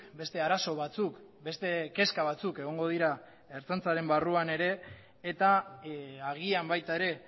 beste arazo batzuk beste kezka batzuk egongo dira ertzaintzaren barruan ere eta agian baita ere